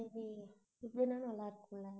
சரி இதுனா நல்லாருக்கும்ல